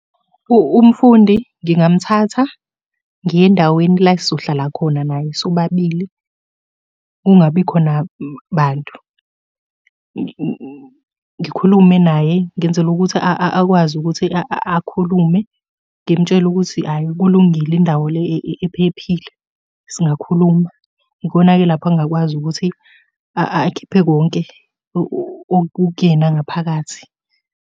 Umfundi ngingamuthatha ngiye endaweni la esizohlala khona naye sobabili kungabi khona bantu. Ngikhulume naye ngenzela ukuthi akwazi ukuthi akhulume. Ngimtshele ukuthi hhayi kulungile indawo le ephephile. Singakhuluma, ikona-ke lapho angakwazi ukuthi akhiphe konke okukuyena ngaphakathi.